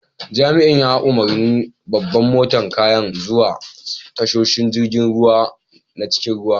Jami'in ya umarni babban motan kayan zuwa tashoshin jirigin ruwa na cikin ruwa.